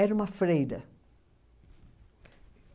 Era uma freira.